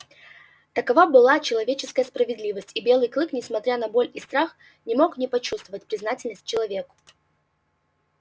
такова была человеческая справедливость и белый клык несмотря на боль и страх не мог не почувствовать признательность человеку